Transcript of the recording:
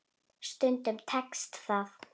Stundum tekst það.